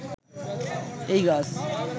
এই গাছ